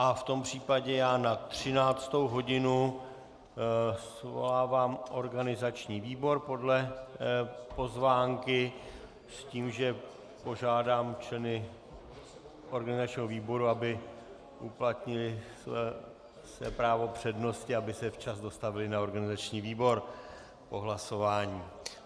A v tom případě já na 13. hodinu svolávám organizační výbor podle pozvánky s tím, že požádám členy organizačního výboru, aby uplatnili své právo přednosti, aby se včas dostavili na organizační výbor po hlasování.